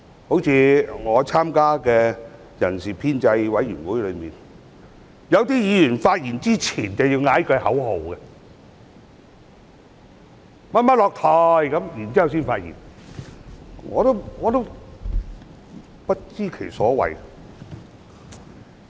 例如我參加的人事編制小組委員會，有些議員在發言前會先喊一句口號"某某下台"，然後才發言，我不知其所謂。